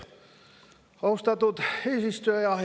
Austatud eesistuja!